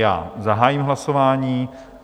Já zahájím hlasování.